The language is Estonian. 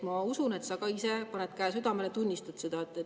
Ma usun, et kui sa ka ise paned käe südamele, siis sa tunnistad seda.